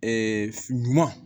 ɲuman